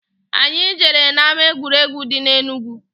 Anyị jere na-ama egwuregwu dị na Enugu.